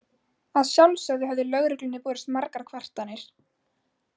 Að sjálfsögðu höfðu lögreglunni borist margar kvartanir.